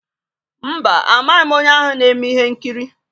Mba, amaghị m onye ahụ na-eme ihe nkiri.